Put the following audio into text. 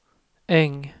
Äng